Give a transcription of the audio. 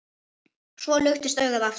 Svo luktist augað aftur.